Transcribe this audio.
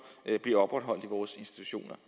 bliver opretholdt i vores institutioner